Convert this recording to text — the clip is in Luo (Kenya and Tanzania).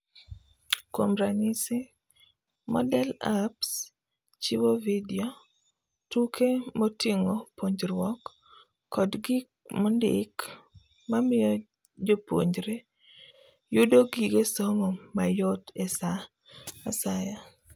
Kuom ranyisi, Moodle Apps chiwo video ,tuke moting'o puonjruok, kod gik mondiki mamiyo jopuonjre yudo gige somo mayot esaa asaya.